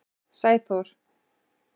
Sæþór